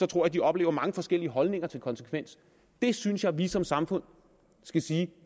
tror de oplever mange forskellige holdninger til konsekvens der synes jeg at vi som samfund skal sige